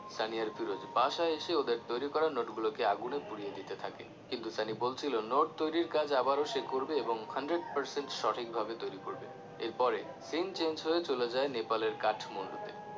সানি আর ফিরোজ বাসায় এসে ওদের তৈরি করা নোট গুলোকে আগুনে পুড়িয়ে দিতে থাকে কিন্তু সানি বলছিলো নোট তৈরির কাজ আবারও সে করবে এবং hundred percent সঠিক ভাবে তৈরি করবে এরপরে scene change হয়ে চলে যায় নেপালের কাঠমুন্ডূ তে